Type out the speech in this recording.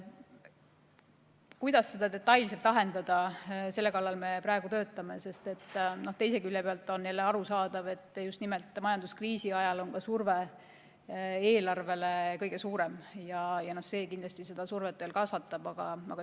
Kuidas seda detailselt lahendada, selle kallal me praegu töötame, sest teise külje pealt on jälle arusaadav, et just nimelt majanduskriisi ajal on surve eelarvele kõige suurem ja see kindlasti kasvatab survet veelgi.